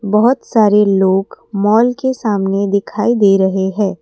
बहुत सारे लोग माल के सामने दिखाई दे रहे हैं।